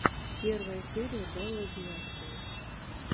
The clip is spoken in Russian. первая серия белла девяткина